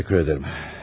Təşəkkür edərəm.